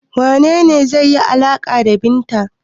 Wane ne zai yi alaƙa da Binta?